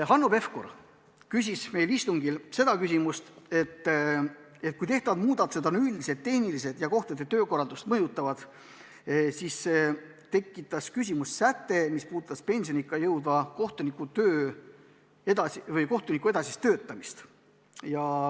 Hanno Pevkur ütles istungil, et tehtavad muudatused on üldiselt tehnilised ja kohtunike töökorraldust mõjutavad, aga temas tekitas küsimuse säte, mis puudutab pensioniikka jõudva kohtuniku edasist töötamist.